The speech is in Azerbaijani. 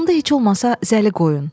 Onda heç olmasa zəli qoyun.